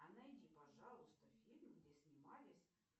а найди пожалуйста фильм где снимались